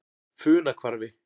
Funahvarfi